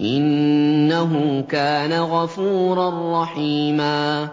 إِنَّهُ كَانَ غَفُورًا رَّحِيمًا